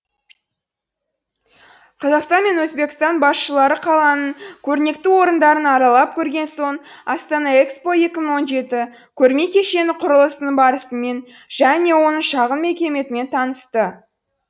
қазақстан мен өзбекстан басшылары қаланың көрнекті орындарын аралап көрген соң астана экспо екі мың он жеті көрме кешені құрылысының барысымен және оның шағын макетімен танысты